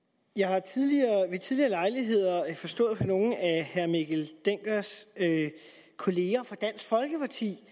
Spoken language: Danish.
jeg har ved tidligere lejligheder forstået på nogle af herre mikkel denckers kolleger fra dansk folkeparti